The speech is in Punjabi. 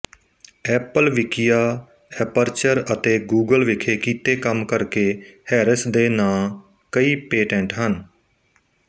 ਐਪਲ ਵਿਕੀਆ ਐਪਰਚਰ ਅਤੇ ਗੂਗਲ ਵਿਖੇ ਕੀਤੇ ਕੰਮ ਕਰਕੇ ਹੈਰਿਸ ਦੇ ਨਾਂ ਕਈ ਪੇਟੈਂਟ ਹਨ